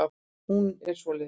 Hún er svoleiðis.